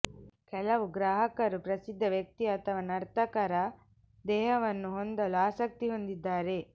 ಕೆಲವು ಗ್ರಾಹಕರು ಪ್ರಸಿದ್ಧ ವ್ಯಕ್ತಿ ಅಥವಾ ನರ್ತಕರ ದೇಹವನ್ನು ಹೊಂದಲು ಆಸಕ್ತಿ ಹೊಂದಿದ್ದಾರೆ